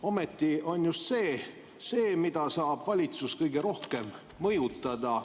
Ometi on see just see, mida saab valitsus kõige rohkem mõjutada.